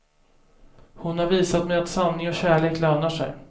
Hon har visat mig att sanning och kärlek lönar sig.